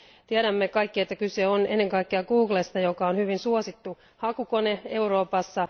Tiedämme kaikki, että kyse on ennen kaikkea Googlesta, joka on hyvin suosittu hakukone Euroopassa.